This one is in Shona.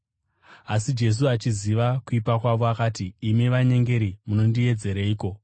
Asi Jesu, achiziva kuipa kwavo, akati, “Imi vanyengeri munondiedzereiko?